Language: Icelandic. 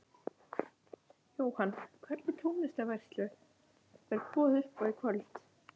Jóhann: Hvernig tónlistarveislu verður boðið upp á í kvöld?